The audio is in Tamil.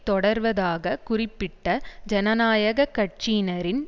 தொடர்வதாக குறிப்பிட்ட ஜனநாயக கட்சியினரின்